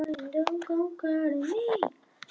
Stella hikaði ekki nema andartak.